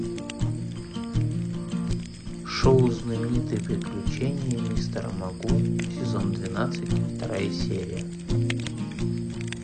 шоу знаменитые приключения мистера магу сезон двенадцать вторая серия